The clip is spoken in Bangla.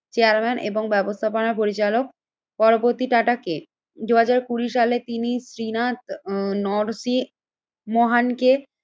চেয়ারম্যান এবং ব্যবস্থাপনা পরিচালক। পরবর্তী টাটা কে? দুই হাজার কুড়ি সালে তিনি শ্রীনাথ নরসি মহানকে